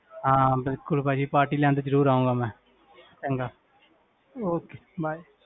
ਹਾਂ ਬਿਲਕੁਲ ਭਾਜੀ party ਲੈਣ ਤੇ ਜ਼ਰੂਰ ਆਊਂਗਾ ਮੈਂ ਚੰਗਾ okay bye